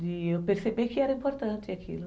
de eu perceber que era importante aquilo.